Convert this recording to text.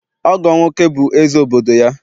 Ọgọ'm nwoke bụ eze obodo ya